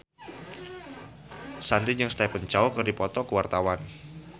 Shanti jeung Stephen Chow keur dipoto ku wartawan